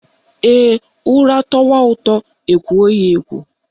Ee, ụra tọwa ụtọ, ekwoo ya ekwoo